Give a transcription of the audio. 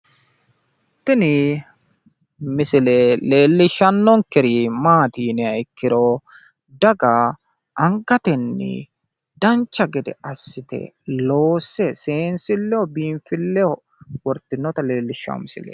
tini misile leellishshanonkeri maati yiniha ikkiro daga angatenni dancha gede assite loosse seensilleho biinfilleho wortanno leellishshanno misileeti.